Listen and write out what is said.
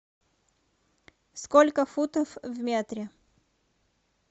сколько футов в метре